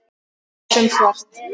Hugsum svart.